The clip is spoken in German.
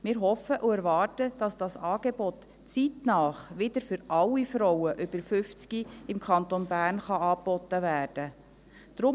Wir hoffen und erwarten, dass dieses Angebot zeitnah wieder für alle Frauen über 50 im Kanton Bern angeboten werden kann.